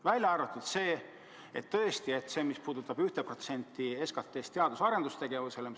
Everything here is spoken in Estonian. Välja arvatud üks asi, mis puudutab 1% SKT-st teadus- ja arendustegevusele.